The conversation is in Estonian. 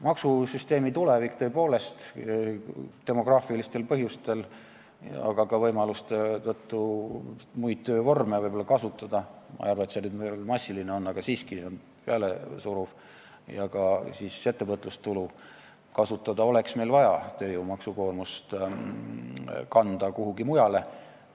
Maksusüsteemi tulevik, tõepoolest, demograafilistel põhjustel, aga ka võimaluste tõttu muid töövorme kasutada – ma ei arva, et see nüüd massiline on, aga siiski, see on pealesuruv – ja ka siis ettevõtlustulu kasutada oleks meil vaja, et tööjõumaksukoormust kanda kuhugi mujale.